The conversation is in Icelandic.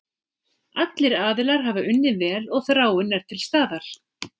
Allir aðilar hafa unnið vel og þráin er til staðar.